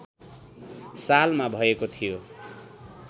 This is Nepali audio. सालमा भएको थियो